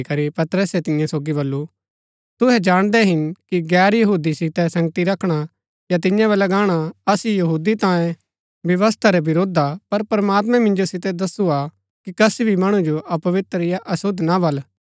पतरसै तियां सोगी बल्लू तुहै जाणदै हिन कि गैर यहूदी सितै संगति रखणा या तियां वलै गाणा असु यहूदी तांयें व्यवस्था रै विरूद्ध हा पर प्रमात्मैं मिन्जो सितै दस्सु हा कि कसी भी मणु जो अपवित्र या अशुद्ध ना बल